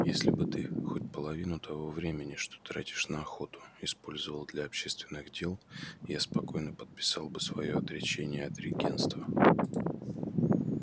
если бы ты хоть половину того времени что тратишь на охоту использовал для общественных дел я спокойно подписал бы своё отречение от регентства